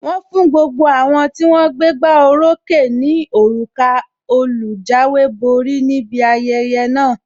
Wọn fún gbogbo àwọn tí wón gbégbá oró ókè ní òrùka olùjáwéborí níbi ayẹyẹ náà.